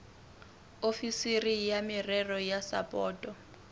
ofisiri ya merero ya sapoto